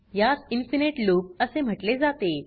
यास infinite loop असे म्हटले जाते